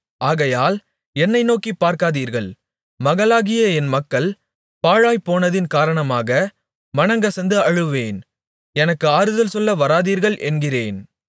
ஆகையால் என்னை நோக்கிப் பார்க்காதீர்கள் மகளாகிய என் மக்கள் பாழாய்ப்போனதின் காரணமாக மனங்கசந்து அழுவேன் எனக்கு ஆறுதல் சொல்ல வராதீர்கள் என்கிறேன்